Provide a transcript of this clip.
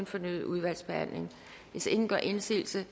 fornyet udvalgsbehandling hvis ingen gør indsigelse